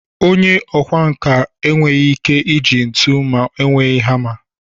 Onye ọkwá nkà enweghị ike iji ntu na-enweghị hama